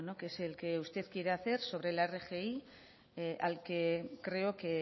el que usted quiere hacer sobre la rgi al que creo que